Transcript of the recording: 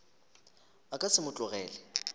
a ka se mo tlogele